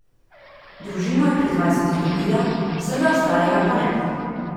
Družino je pri dvajsetih dobila, vsega ostalega pa ne.